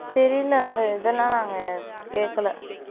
தெரியல நாங்க இந்த இதெல்லாம் நாங்க கேக்கலை